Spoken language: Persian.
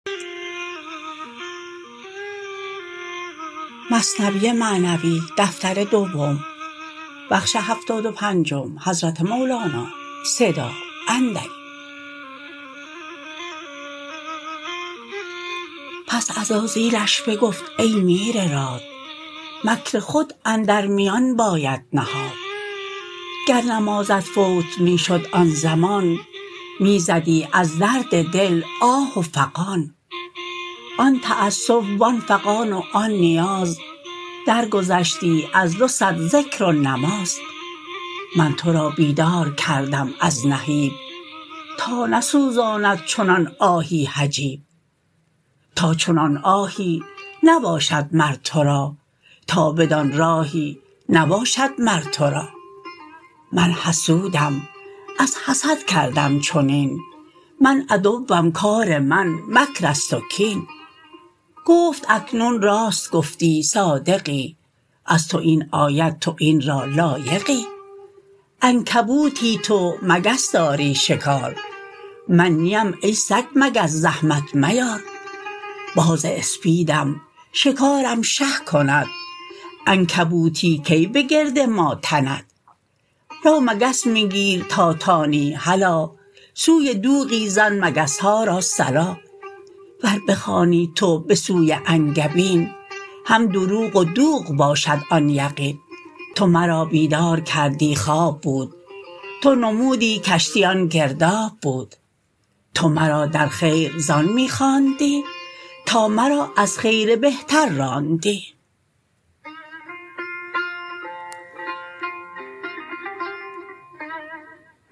پس عزازیلش بگفت ای میر راد مکر خود اندر میان باید نهاد گر نمازت فوت می شد آن زمان می زدی از درد دل آه و فغان آن تاسف و آن فغان و آن نیاز درگذشتی از دو صد ذکر و نماز من تو را بیدار کردم از نهیب تا نسوزاند چنان آهی حجاب تا چنان آهی نباشد مر تو را تا بدان راهی نباشد مر تو را من حسودم از حسد کردم چنین من عدوم کار من مکرست و کین گفت اکنون راست گفتی صادقی از تو این آید تو این را لایقی عنکبوتی تو مگس داری شکار من نیم ای سگ مگس زحمت میار باز اسپیدم شکارم شه کند عنکبوتی کی بگرد ما تند رو مگس می گیر تا توانی هلا سوی دوغی زن مگسها را صلا ور بخوانی تو به سوی انگبین هم دروغ و دوغ باشد آن یقین تو مرا بیدار کردی خواب بود تو نمودی کشتی آن گرداب بود تو مرا در خیر زان می خواندی تا مرا از خیر بهتر راندی